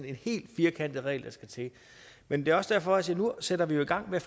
en helt firkantet regel der skal til men det er også derfor jeg siger at nu sætter vi i gang med